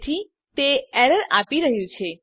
તેથી તે એરર આપી રહ્યું છે